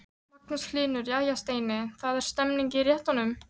Magnús Hlynur: Jæja Steini, það er stemning í réttunum?